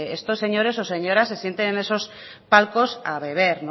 estos señores o señoras se sienten en esos palcos a beber